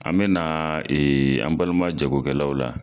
An bɛ na an balima jago kɛlaw la.